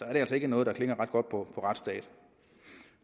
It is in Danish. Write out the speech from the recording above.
er det altså ikke noget der rimer ret godt på retsstat